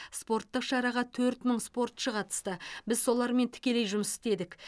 спорттық шараға төрт мың спортшы қатысты біз солармен тікелей жұмыс істедік